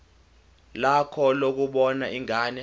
lakho lokubona ingane